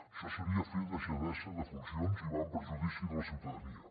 això seria fer deixadesa de funcions i va en perjudici de la ciutadania